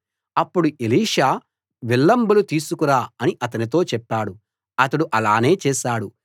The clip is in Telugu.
అప్పుడు ఎలీషా విల్లంబులు తీసుకురా అని అతనితో చెప్పాడు అతడు అలానే చేశాడు